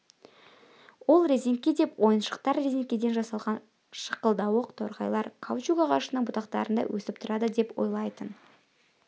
ол резеңке деп ойыншықтар резеңкеден жасалған шықылдауық торғайлар каучук ағашының бұтақтарында өсіп тұрады деп ойлайтын